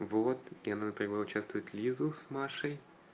вот я например участвует лизу с машей